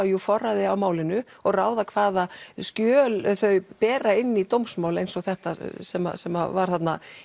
jú forræði að málinu og ráða hvaða skjöl þau bera inn í dómsmál eins og þetta sem sem var þarna